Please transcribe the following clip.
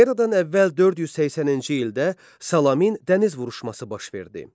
Eradan əvvəl 480-ci ildə Salamin dəniz vuruşması baş verdi.